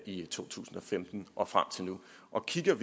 i to tusind og femten og frem til nu og kigger